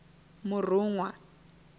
murunwa